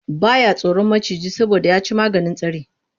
Ba ya tsoron maciji saboda ya ci maganin tsari.